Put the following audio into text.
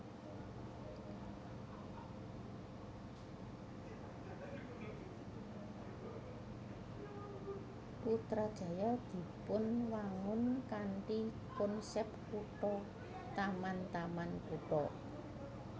Putrajaya dipunwangun kanthi konsep kutha taman taman kutha